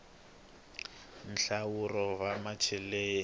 nhlahluvo wa macheleni